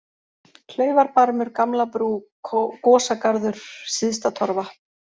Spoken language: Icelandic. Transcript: Klaufarbarmur, Gamlabrú, Gosagarður, Syðstatorfa